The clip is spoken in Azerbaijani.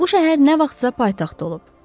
Bu şəhər nə vaxtsa paytaxt olub.